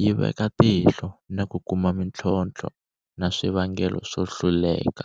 yi veka tihlo na ku kuma mitlhontlho na swivangelo swo hluleka.